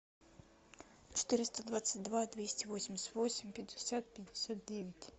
четыреста двадцать два двести восемьдесят восемь пятьдесят пятьдесят девять